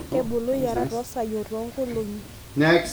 kebulu iyarat tosai otongolongi.